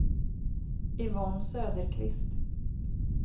Yvonne Söderqvist